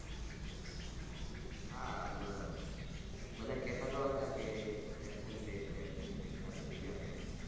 હા બઘા કહેતા તો હતા કે absent રે છે absent રે છે